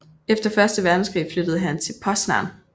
Efter første verdenskrig flyttede han til Poznań